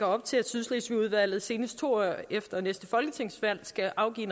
op til at sydslesvigudvalget senest to år efter næste folketingsvalg skal afgive